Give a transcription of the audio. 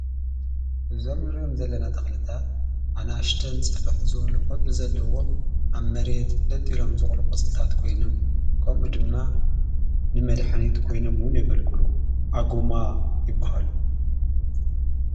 እዞም ንርዮም ዘለና ተኽልታት ኣናሽተን ጽፍሕ ዝወሉ ቖጽሊ ዘለዎም ኣብ መሬየትፍለጥ ኢሎም ዝቕሉ ቊጽልታት ኮይኖም ከምኡ ድማ ንመድኃኒይት ኮይኖምውን የገልግሉ ኣጎማ ይብሃሉ።